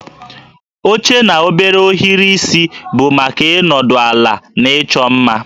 Oche na obere ohiri isi bụ maka ịnọdụ ala na ịchọ mma